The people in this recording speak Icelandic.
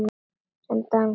Sem dansar.